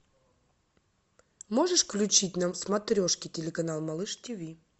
можешь включить нам смотрешки телеканал малыш тиви